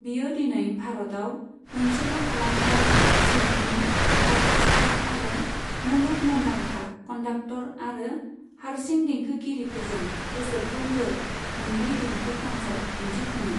बियो दिनै भारतआव मोनसेल' फालांगियारि सिम्फनि अर्केस्ट्रा आरो मुलुग मुंदांखा कन्डाक्टर आरो हारसिं देंखोगिरिफोरजों बोसोरफ्रोमबो मोननै देंखो कनसार्ट दिन्थिफुङो।